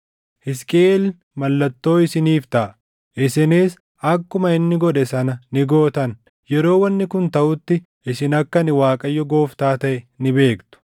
Hisqiʼeel mallattoo isiniif taʼa; isinis akkuma inni godhe sana ni gootan. Yeroo wanni kun taʼutti isin akka ani Waaqayyo Gooftaa taʼe ni beektu.’